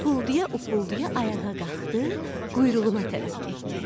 Ufuldaya-ufuldaya ayağa qalxdı, quyruğuna tərəf getdi.